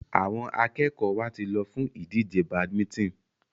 Àwọn akẹ́kọ̀ọ́ wa ti lọ fún ìdíje badminton.